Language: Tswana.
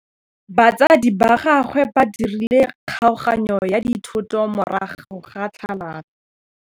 Batsadi ba gagwe ba dirile kgaoganyô ya dithoto morago ga tlhalanô.